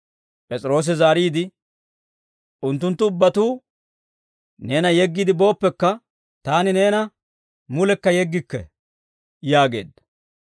P'es'iroosi zaariide, «Unttunttu ubbatuu neena yeggiide booppekka, taani neena mulekka yeggikke» yaageedda.